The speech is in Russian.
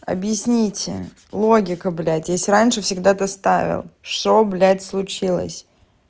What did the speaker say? объясните логику блядь если раньше всегда ты ставил что блядь случилось